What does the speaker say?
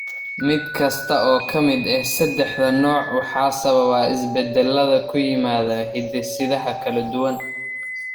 Mid kasta oo ka mid ah saddexda nooc waxaa sababa isbeddellada ku yimaadda hidde-sidaha kala duwan.